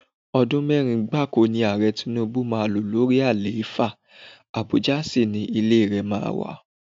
Ọdún mẹ́rin gbáko ni Ààrẹ Tinubu máa lò lórí àlééfà, Abuja sì ni ilé rẹ máa wà.